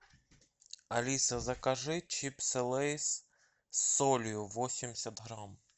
алиса закажи чипсы лейс с солью восемьдесят грамм